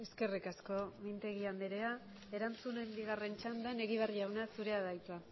eskerrik asko mintegi anderea erantzunen bigarren txandan egibar jauna zurea da hitza